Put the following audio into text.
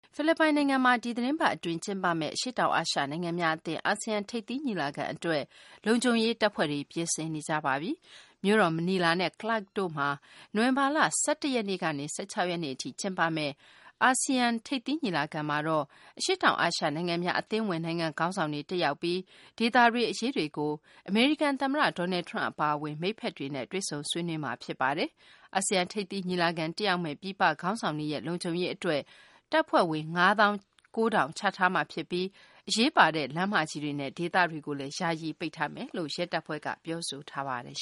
ဖိလစ်ပိုင် နိုင်ငံမှာ ဒီသတင်းပတ် အတွင်း ကျင်းပမယ့် အရှေ့တောင် အာရှ နိုင်ငံများအသင်း အာဆီယံ ထိပ်သီး ညီလာခံ အတွက် လုံခြုံရေး တပ်ဖွဲ့တွေ ပြင်ဆင်နေကြပါပြီ။ မြို့တော် မနီလာနဲ့ Clark တို့မှာ နိုဝင်ဘာလ ၁၁ ရက်နေ့ကနေ ၁၆ ရက်နေ့ အထိ ကျင်းပမယ့် အာဆီယံ ထိပ်သီးညီလာခံမှာတော့ အရှေ့တောင်အာရှ နိုင်ငံများ အသင်းဝင် နိုင်ငံ ခေါင်းဆောင်တွေ တက်ရောက်ပြီး ဒေသတွင်းအရေးတွေကို အမေရိကန် သမ္မတ Donald Trump အပါအဝင် မိတ်ဖက်တွေနဲ့ တွေ့ဆုံဆွေးနွေးကြမှာ ဖြစ်ပါတယ်။ အာဆီယံ ထိပ်သီး ညီလာခံ တက်ရောက်မယ့် ပြည်ပ ခေါင်းဆောင်တွေရဲ့ လုံခြုံရေး အတွက် တပ်ဖွဲ့ဝင် ၅ သောင်း ၉ ထောင်ချထားမှာ ဖြစ်ပြီး အရေးပါတဲ့ လမ်းမကြီးတွေနဲ့ ဒေသတွကိုလည်း ယာယီ ပိတ်ထားမယ်လို့ ရဲတပ်ဖွဲ့က ပြောဆိုပါတယ်